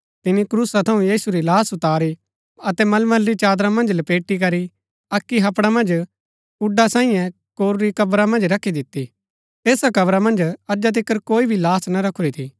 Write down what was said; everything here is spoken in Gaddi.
तिनी क्रूसा थऊँ यीशु री लाहश उतारी अतै मलमल री चादरा मन्ज लपेटी करी अक्की हपड़ा मन्ज कूड्‍डा सांईं कोरूरी कब्रा मन्ज रखी दिती ऐसा कब्रा मन्ज अजा तिकर कोई भी लाहश ना रखुरी थी